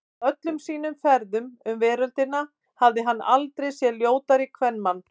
Á öllum sínum ferðum um veröldina hafði hann aldrei séð ljótari kvenmann.